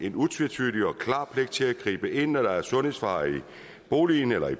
en utvetydig og klar pligt til at gribe ind når der er sundhedsfare i en bolig og